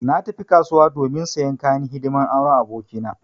Na tafi kasuwa domin sayan kayan hidiman auren aboki na.